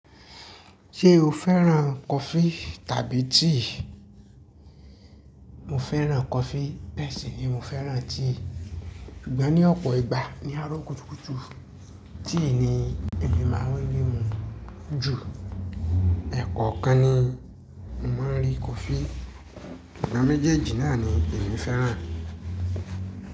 Ṣé o fẹ́ràn coffee tàbí tea? Mo fẹ́ràn coffee bẹ́ẹ̀ sì ni mo fẹ́ràn tea. Ìgbà ní ọ̀pọ̀ ìgbà ní àárọ̀ kùtùkùtù tea ni èmi máa ń ní mu ju. Ẹ̀kọ́ kan ni mo máa n rí coffee. Ìgbà méjèèjì náà ni èmi fẹ́ràn.